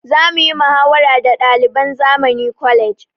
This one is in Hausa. Za muyi muhawara da ɗaliban zamani college